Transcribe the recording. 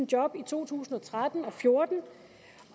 job i to tusind og tretten og fjorten